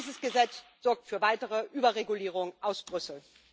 Dieses Gesetz sorgt für eine weitere Überregulierung aus Brüssel.